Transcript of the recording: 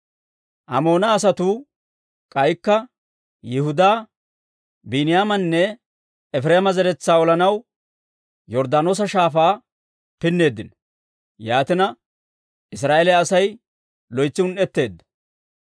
Amoona asatuu k'aykka Yihudaa, Biiniyaamanne Efireema zeretsaa olanaw Yorddaanoosa Shaafaa pinneeddino; yaatina, Israa'eeliyaa Asay loytsi un"etteedda.